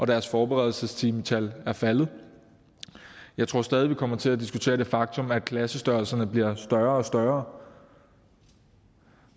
deres forberedelsestimetal er faldet jeg tror stadig vi kommer til at diskutere det faktum at klassestørrelserne bliver større og større